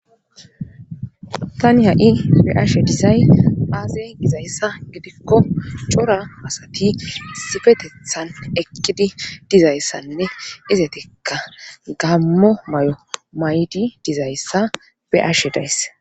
Tani ha7i be ashe disay aaze gizayssa gidikko cora asati sifetethan ekkidi dizayssannine izetekka gammo may7o may7di dizayssa be ashe dayss